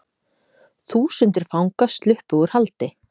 Þúsundir fanga sluppu úr haldi